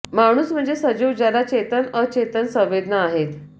माणूस म्हणजे सजीव ज्याला चेतन अचेतन संवेदना आहेत